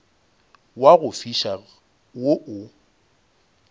wa go fiša wo o